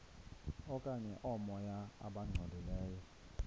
okanye oomoya abangcolileyo